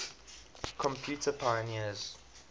computer pioneers